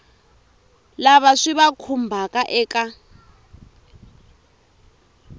lava swi va khumbhaka eka